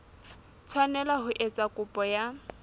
tshwanela ho etsa kopo ya